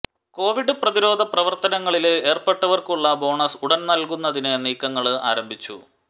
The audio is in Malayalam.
കോവിഡ് പ്രതിരോധ പ്രവര്ത്തനങ്ങളില് ഏര്പ്പെട്ടവര്ക്കുള്ള ബോണസ് ഉടന് നല്കുന്നതിന് നീക്കങ്ങള് ആരംഭിച്ചു